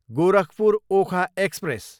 Gorakhpur, Okha express